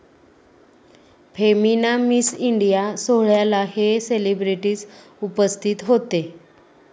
Femina Miss India' सोहळ्याला हे celebrities उपस्थित होते